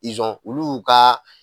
olu y'u ka